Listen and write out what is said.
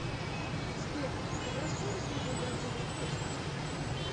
сбер добросовестный ли владимир путин